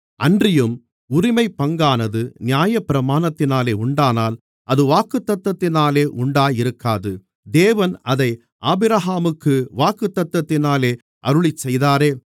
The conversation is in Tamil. அன்றியும் உரிமைப்பங்கானது நியாயப்பிரமாணத்தினாலே உண்டானால் அது வாக்குத்தத்தத்தினாலே உண்டாயிருக்காது தேவன் அதை ஆபிரகாமுக்கு வாக்குத்தத்தத்தினாலே அருளிச்செய்தாரே